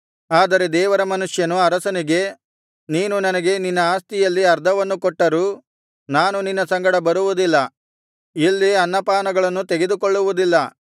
ಆದರೆ ದೇವರ ಮನುಷ್ಯನು ಅರಸನಿಗೆ ನೀನು ನನಗೆ ನಿನ್ನ ಆಸ್ತಿಯಲ್ಲಿ ಅರ್ಧವನ್ನು ಕೊಟ್ಟರೂ ನಾನು ನಿನ್ನ ಸಂಗಡ ಬರುವುದಿಲ್ಲ ಇಲ್ಲಿ ಅನ್ನ ಪಾನಗಳನ್ನು ತೆಗೆದುಕೊಳ್ಳುವುದಿಲ್ಲ